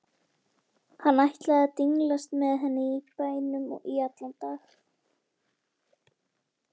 Hann ætlaði að dinglast með henni í bænum í allan dag.